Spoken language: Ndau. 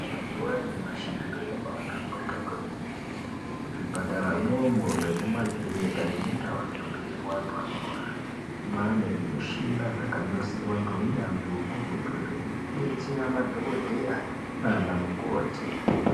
Mazuwa anyamashi zviro zvabaahlamburuka kwemene muzvipataramwo umo nemumakirinika nemundau dzinodetserwa anorwaa maane zvimushina zvakanasirwa ngeunyanzvi hukurutu zvekudetsera madhokodheya nanamukoti.